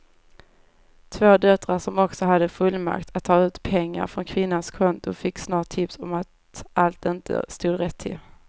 Två döttrar som också hade fullmakt att ta ut pengar från kvinnans konton fick snart tips om att allt inte stod rätt till.